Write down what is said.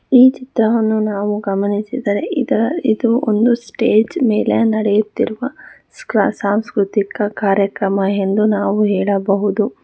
ಈ ಚಿತ್ರವನ್ನು ನಾವು ಗಮನಿಸಿದರೆ ಇದ ಇದು ಒಂದು ಸ್ಟೇಜ್ ಮೇಲೆ ನಡೆಯುತ್ತಿರುವ ಸ್ಕೃ ಸಾಂಸ್ಕೃತಿಕ ಕಾರ್ಯಕ್ರಮಯೆಂದು ನಾವು ಹೇಳಬಹುದು.